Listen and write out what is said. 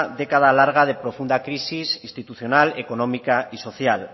década larga de profunda crisis institucional económica y social